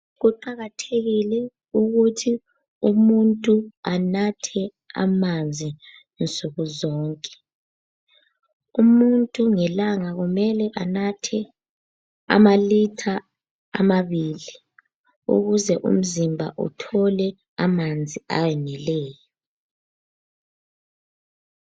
Kuqakathekile ukuthi umuntu anathe amanzi nsukuzonke. Umuntu ngelanga kumele anathe amalitha amabili ukuze umzimba uthole amanzi ayeneleyo.